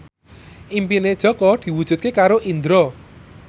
impine Jaka diwujudke karo Indro